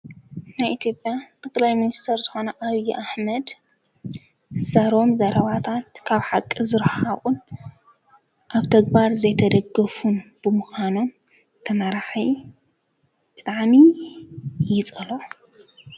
ናይ ኢትዮጵያ ጠቅላይ ሚኒስተር ዝኾነ ኣብዪ ኣሕመድ ዝዛረቦም ዘረባታት ካብ ሓቂ ዝረሓቑን ኣብ ተግባር ዘይተደገፉ ብምዃኑ ትመራሒ ብጣዕሚ ይፀልኦ።